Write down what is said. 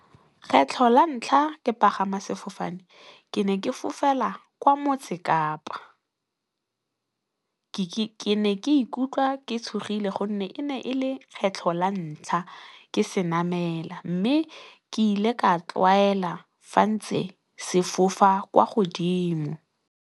Kgetlho la ntlha ke pagama sefofane ke ne ke fofela kwa Motse Kapa, ke ne ke ikutlwa ke tshogile gonne e ne e le kgetlho la ntlha ke senamela. Mme ke ile ka tlwaela fa ntse se fofa kwa godimo.